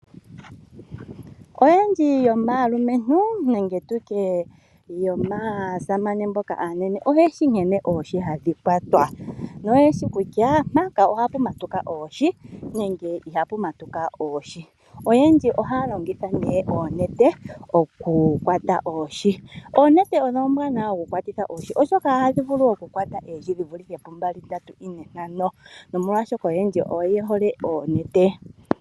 Oyendji yomaalumentu nenge tutye yomaasamane mboka aanene oyeshi nkene oohi hadhi kwatwa, oyeshi kutya mpaka ohapu matuka oohi nenge ihapu matuka oohi. Oyendji ohaya longitha ne oonete oku kwata oohi. Oonete odho oombwanawa oku kwatitha oohi oshoka oto vulu oku kwata oohi dhi vulithe pu yimwe oonkee aantu oyendji oye hole oku longitha oonete.